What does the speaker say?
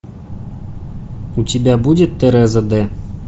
у тебя будет тереза д